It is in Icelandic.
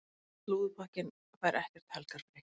Slúðurpakkinn fær ekkert helgarfrí.